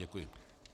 Děkuji.